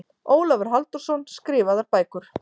Ólafur Halldórsson, Skrifaðar bækur